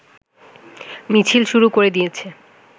মিছিল শুরু করে দিয়েছে